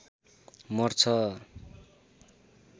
मर्छ